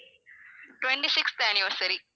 twenty-sixth anniversary